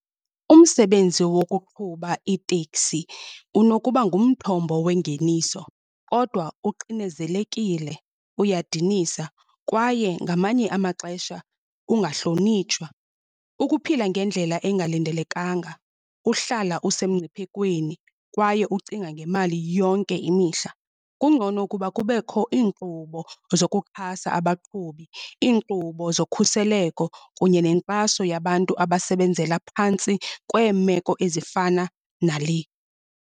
Umsebenzi wokuqhuba iiteksi unokuba ngumthombo wengeniso, kodwa uxinezelekile, uyadinisa kwaye ngamanye amaxesha ungahlonitshwa. Ukuphila ngendlela engalindelekanga, uhlala usemngciphekweni, kwaye ucinga ngemali yonke imihla. Kungcono ukuba kubekho iinkqubo zokuxhasa abaqhubi, iinkqubo zokhuseleko kunye nenkxaso yabantu abasebenzela phantsi kweemeko ezifana nale.